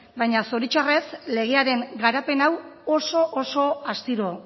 baina zoritzarrez legearen garapen hau oso astiro